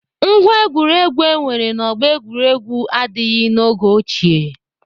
Ngwá egwuregwu enwere na ọgbọ egwuregwu adịghị n'oge ochie.